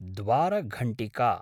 द्वारघण्टिका